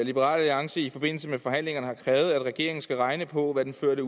liberal alliance i forbindelse med forhandlingerne har krævet at regeringen skal regne på hvad den førte